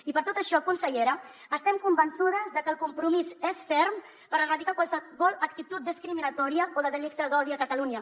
i per tot això consellera estem convençudes de que el compromís és ferm per erradicar qualsevol actitud discriminatòria o de delicte d’odi a catalunya